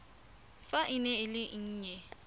fa e le e nnye